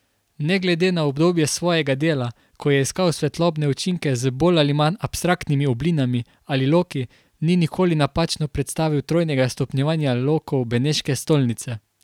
Ne glede na obdobje svojega dela, ko je iskal svetlobne učinke z bolj ali manj abstraktnimi oblinami ali loki, ni nikoli napačno predstavil trojnega stopnjevanja lokov beneške stolnice.